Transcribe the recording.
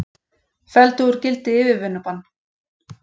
Felldu úr gildi yfirvinnubann